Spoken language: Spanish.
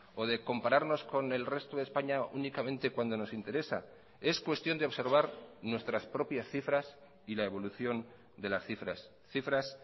o de compararnos con el resto de españa únicamente cuando nos interesa es cuestión de observar nuestras propias cifras y la evolución de las cifras cifras